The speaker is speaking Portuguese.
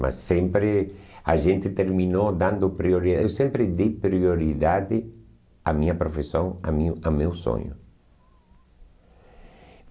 Mas sempre a gente terminou dando priori, eu sempre dei prioridade à minha profissão, a minha ao meu sonho.